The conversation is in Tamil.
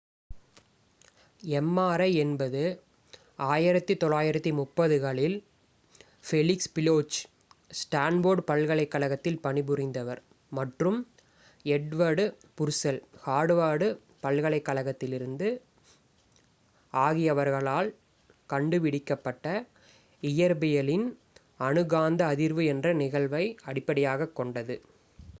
mri என்பது 1930 களில் ஃபெலிக்ஸ் பிலோச் ஸ்டான் போர்ட் பல்கலைக் கழகத்தில் பணி புரிந்தவர் மற்றும் எட்வர்ட் புர்செல் ஹார்வார்ட் பல்கலைக் கழகத்திலிருந்து ஆகியவர்களால் கண்டு பிடிக்கப் பட்ட இயற்பியலின் அணு காந்த அதிர்வு nmr என்ற நிகழ்வை அடிப்படையாகக் கொண்டது